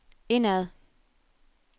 indad